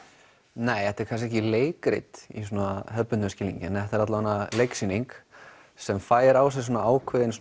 nei þetta er kannski ekki leikrit í svona hefðbundnum skilningi en þetta er leiksýning sem fær á sig ákveðinn